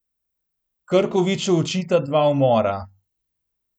Krkoviču očita dva umora.